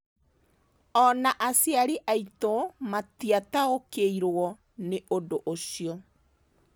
O na aciari aitũ matiataũkĩirũo nĩ ũndũ ũcio.